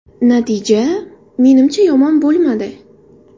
Natija, menimcha yomon bo‘lmadi.